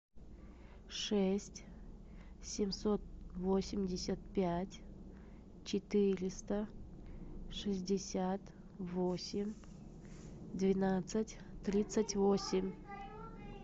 шесть семьсот восемьдесят пять четыреста шестьдесят восемь двенадцать тридцать восемь